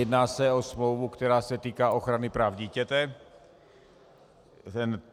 Jedná se o smlouvu, která se týká ochrany práv dítěte.